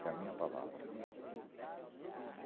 É a minha palavra.